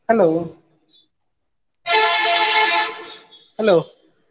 Hello Hello.